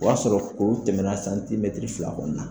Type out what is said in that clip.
O y'a sɔrɔ kuru tɛmɛna santimɛtiri fila kɔni na